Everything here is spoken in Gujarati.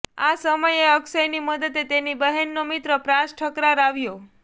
આ સમયે અક્ષયની મદદે તેની બહેનનો મિત્ર પ્રાશ ઠકરાર આવ્યો